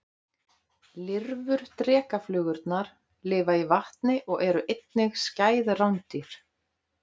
Lirfur drekaflugurnar lifa í vatni og eru einnig skæð rándýr.